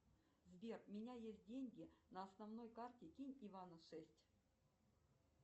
сбер у меня есть деньги на основной карте кинь ивану шесть